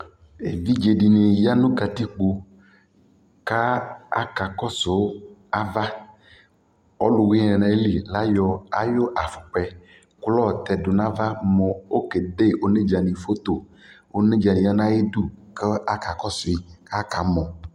Evidzedi ni ya nʋ katikpo ka akakɔsʋ ava Ɔlʋwini yɛ nʋ ayʋlι layɔ ayʋ afukpa yɛ kʋ layɔ tɛdʋ nʋ ava mʋ okede onedza ni foto kʋ onedza ni ya nʋ ayʋdu kʋ akakɔsuyʋi kʋ akamɔ